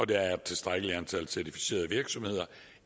der er et tilstrækkeligt antal certificerede virksomheder